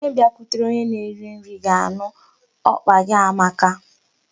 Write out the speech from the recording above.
Onye bịakwutere onye na-eri nri ga-anụ ọkpa gị amaka.